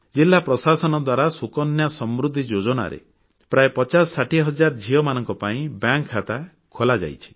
ଜିଲ୍ଲା ପ୍ରଶାସନ ଦ୍ୱାରା ସୁକନ୍ୟା ସମୃଦ୍ଧି ଯୋଜନାରେ ପ୍ରାୟ 5060 ହଜାର ଝିଅମାନଙ୍କ ପାଇଁ ବ୍ୟାଙ୍କ ଖାତା ଖୋଲାଯାଇଛି